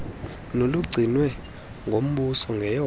nolugcinwe ngumbuso ngeyona